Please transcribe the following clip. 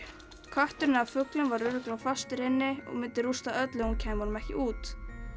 kötturinn eða fuglinn var örugglega fastur inni og myndi rústa öllu ef hún kæmi honum ekki út